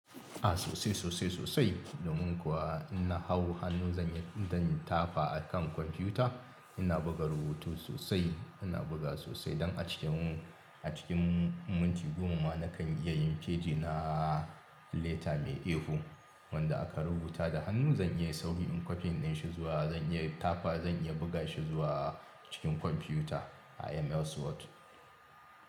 A sosai, sosai, sosai. Domin kuwa in na hau hannu zan yi, zan tafa a kan kwamfiyuta. Ina buga rubutu sosai, ina buga sosai don a cikin, a cikin minti goma na kan iya yin feji na leta mai A4 wanda aka rubuta da hannu. Zan iya sauri in copying ɗi shi zuwa, zan iya tafa, zan iya buga shi zuwa cikin kwamfiyuta a MS Word.